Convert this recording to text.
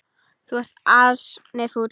Þú ert ansi fúll.